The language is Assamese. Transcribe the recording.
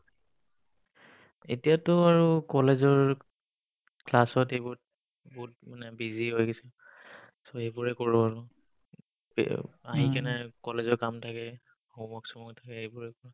এতিয়াতো বাৰু কলেজৰ class ত এইবোত বহুত মানে busy হৈ গেছো so, এইবোৰে কৰো আৰু আহিকিনে কলেজৰ কাম থাকে homework চোম work থাকে এইবোৰে